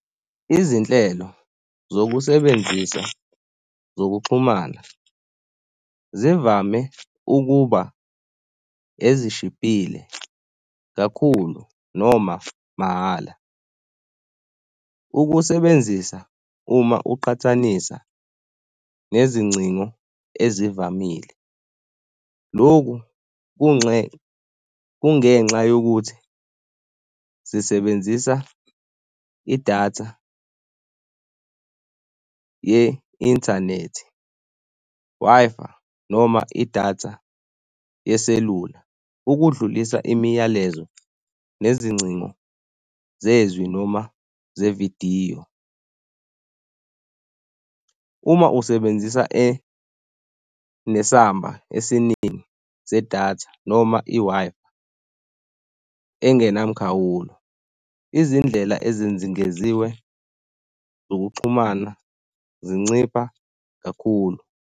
Izinhlelo zokusebenzisa zokuxhumana zivame ukuba ezishibhile kakhulu noma mahhala ukusebenzisa uma uqhathanisa nezingcingo ezivamile. Lokhu kungenxa yokuthi zisebenzisa idatha ye inthanethi, Wi-Fi noma idatha yeselula ukudlulisa imiyalezo nezingcingo zezwi noma zevidiyo. Uma usebenzisa nesamba esiningi sedatha noma i-Wi-Fi engenamkhawulo, izindlela ezinzingeziwe zokuxhumana zincipha kakhulu.